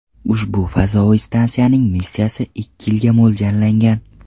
Ushbu fazoviy stansiyaning missiyasi ikki yilga mo‘ljallangan.